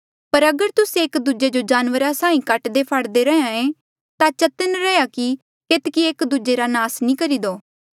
पर अगर तुस्से एक दूजे जो जानवरा साहीं काट्हाफाड़दे रहे ता चतन्न रैहया कि केतकी एक दूजे रा नास नी करी दो